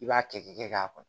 I b'a kɛ k'i kɛ k'a